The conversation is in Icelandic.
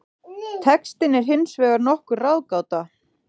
Textinn er hins vegar nokkur ráðgáta.